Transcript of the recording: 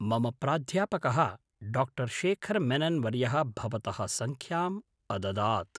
मम प्राध्यापकः डाक्टर् शेखर् मेनन् वर्यः भवतः सङ्ख्याम् अददात्।